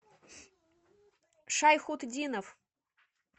шайхутдинов